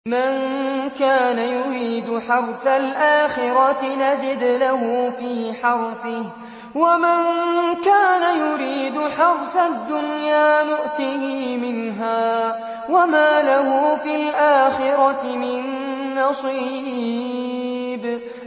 مَن كَانَ يُرِيدُ حَرْثَ الْآخِرَةِ نَزِدْ لَهُ فِي حَرْثِهِ ۖ وَمَن كَانَ يُرِيدُ حَرْثَ الدُّنْيَا نُؤْتِهِ مِنْهَا وَمَا لَهُ فِي الْآخِرَةِ مِن نَّصِيبٍ